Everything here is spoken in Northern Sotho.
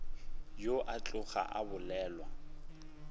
ao a tloga a bolelwa